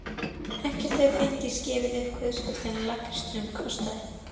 Í dag urðu skorkvikindin vinir mínir.